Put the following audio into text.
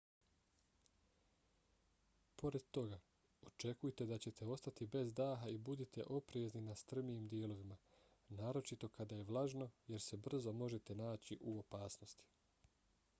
pored toga očekujte da ćete ostati bez daha i budite oprezni na strmijim dijelovima naročito kada je vlažno jer se brzo možete naći u opasnosti